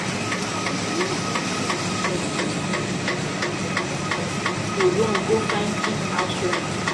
as life don cost for inside town e don make plenti pipo run go find cheap house rent.